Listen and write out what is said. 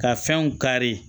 Ka fɛnw kari